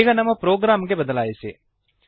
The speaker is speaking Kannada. ಈಗ ನಮ್ಮ ಪ್ರೋಗ್ರಾಂ ಗೆ ಬದಲಾಯಿಸಿರಿ